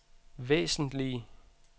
væsentlige